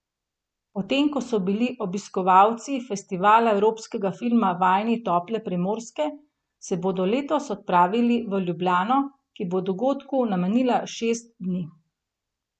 Potem ko so bili obiskovalci Festivala evropskega filma vajeni tople Primorske, se bodo letos odpravili v Ljubljano, ki bo dogodku namenila šest dni.